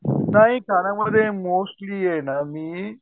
नाही खाण्यामध्ये मोस्टली आहे ना मी